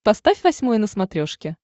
поставь восьмой на смотрешке